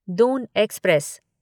Doon express